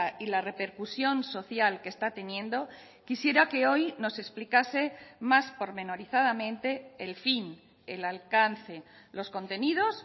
y la repercusión social que está teniendo quisiera que hoy nos explicase más pormenorizadamente el fin el alcance los contenidos